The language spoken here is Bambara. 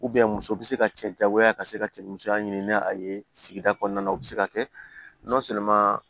muso bɛ se ka cɛ jagoya ka se ka cɛ musoya ɲini ni a ye sigida kɔnɔna na u bɛ se ka kɛ